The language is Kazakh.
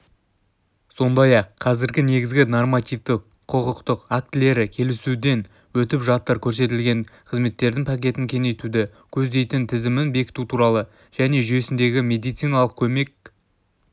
сондай-ақ қазір негізгі нормативтік-құқықтық актілері келісуден өтіп жатыр көрсетілетін қызметтердің пакетін кеңейтуді көздейтін тізімін бекіту туралы және жүйесіндегі медициналық көмек тізімін